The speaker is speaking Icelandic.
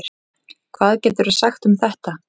Hvað geturðu sagt um þetta?